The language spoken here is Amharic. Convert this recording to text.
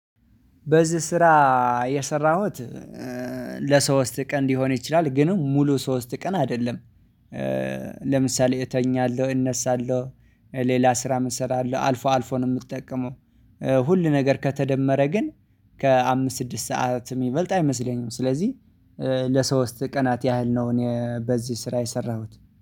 በዚህ ስራ የሰራሁት ለሶስት ቀን ሊሆን ይችላል ግን ሙሉ ሶስት ቀን አይደለም። ለምሳሌ እተኛለሁ እነሳለሁ ሌላ ስራም እሰራለሁ አልፎ አልፎ ነው። ሁል ነገር ከተደመረ ግን ከአምስት ስድስት ሰዓት የሚበልጥ አይመስለኝም። ስለዚህ ለሶስት ቀናት ያህል ነው። እኔ በዚህ ስራ የሰራሁት